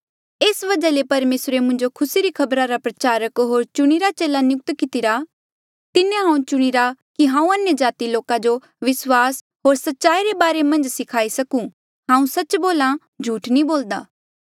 एस वजहा ले परमेसरे मुंजो खुसी री खबरा रा प्रचारक होर चुणिरा चेला नियुक्त कितिरा तिन्हें हांऊँ चुणिरा कि हांऊँ अन्यजाति लोका जो विस्वास होर सच्चाई रे बारे मन्झ सखाई सकूं हांऊँ सच्च बोल्हा झूठ नी बोलदा